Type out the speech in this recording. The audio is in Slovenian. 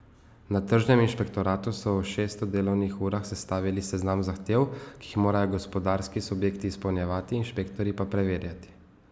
Na tržnem inšpektoratu so v šeststo delovnih urah sestavili seznam zahtev, ki jih morajo gospodarski subjekti izpolnjevati, inšpektorji pa preverjati.